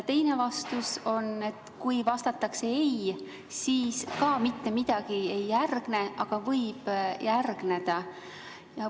Teine võimalus on, kui vastatakse ei, ka siis mitte midagi ei järgne, aga võib järgneda.